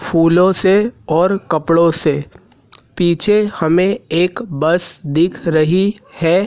फूलों से और कपड़ों से पीछे हमें एक बस दिख रही है।